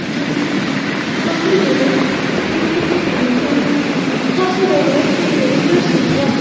जहां पर काफी ज्यादा कपड़े रखे हुए हैं और काफी ज्यादा सुंदर ड्रेसेस हैं।